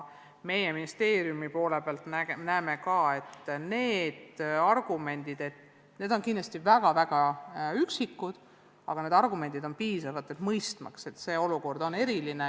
Meie ministeeriumis näeme, et neid argumente on vähe, aga kahtlemata on need piisavad, mõistmaks, et see olukord on eriline.